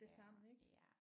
Det samme ik